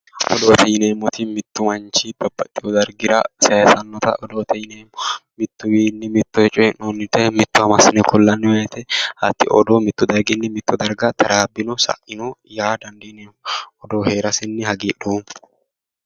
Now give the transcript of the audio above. odoote yineemmoti mittu manchi babbaxxinore sayisannota odoote yineemmo mittuwiinni mittowa coyi'noyire mittowa massine kullanni woyite hatti odoo mittu daqiiqinni wolewa taraabbino sa'ino yaa dandiineemmo odoo heerasenni hagiidhoommo.